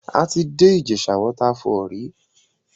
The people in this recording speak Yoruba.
A ti dé Ìjèṣà waterfall rí.